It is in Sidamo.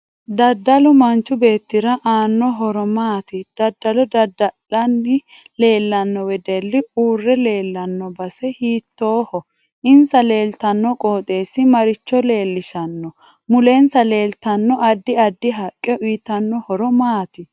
Daddalu manchi beetira aano horo maati daddallo daddala'ni leelanno wedelli uure leelanno base hiitooho insa leeltanno qooxeesi maricho leelishanno mulensa leeltanno addi addi haqqe uyiitanno horo maati